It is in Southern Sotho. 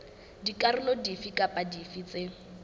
dikarolo dife kapa dife tse